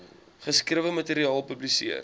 geskrewe materiaal publiseer